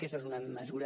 aquesta és una mesura